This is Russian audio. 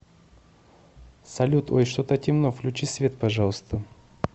салют ой что то темно включи свет пожалуйста